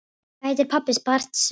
Hvað heitir pabbi Barts Simpson?